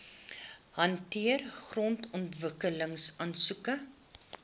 hanteer grondontwikkeling aansoeke